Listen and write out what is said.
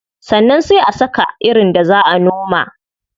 Sannan sai a saka irin da zaa a noma.